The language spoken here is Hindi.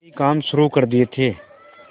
कई काम शुरू कर दिए थे